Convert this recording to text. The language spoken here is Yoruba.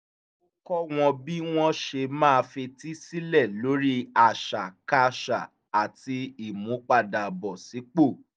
ó kọ́ wọ́n bí wọ́n ṣe máa fetí sílẹ̀ lórí àṣàkáṣà àti ìmúpadàbọ̀sípò